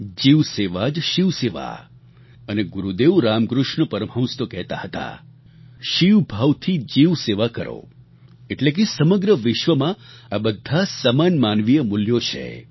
જીવસેવા જ શિવસેવા અને ગુરુદેવ રામકૃષ્ણ પરમહંસ તો કહેતા હતા શિવભાવથી જીવસેવા કરો એટલે કે સમગ્ર વિશ્વમાં આ બધાં સમાન માનવીય મૂલ્યો છે